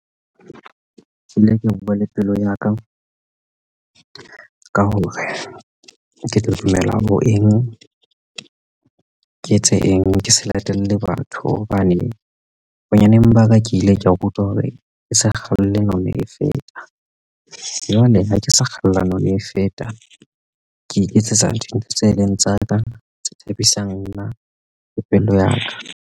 Ke ile ke buwa le pelo ya ka ka hore ke tla dumela ho eng ke etse eng ke se latelle batho hobane bonyaneng ba ka ke ile ka rutwa hore ke se kgalle none e feta jwale ha ke sa kgathallane ha e feta ke iketsetsa dintho tse leng tsa ka tse thabisang nna pelo ya ka.